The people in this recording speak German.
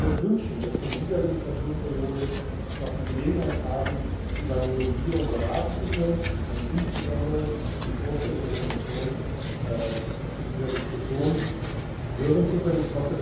Ich würde mir wünschen, dass wir in dieser Legislaturperiode noch die Gelegenheit haben, über eine Novellierung beraten und insbesondere die Vorschläge der Kommission zu dieser Diskussion hören zu können.